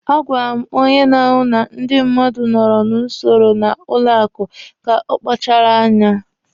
A gwara m onye na-ahụ na ndị mmadụ nọrọ n'usoro na banki ka ọ kpachara anya.